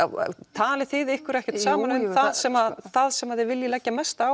talið þið ykkur ekkert saman um það sem það sem þið viljið leggja mesta